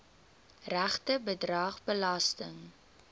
regte bedrag belasting